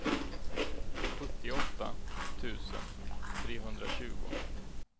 sjuttioåtta tusen trehundratjugo